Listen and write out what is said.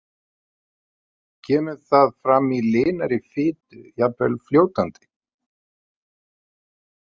Kemur það fram í linari fitu, jafnvel fljótandi.